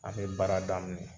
A bɛ baara daminɛ .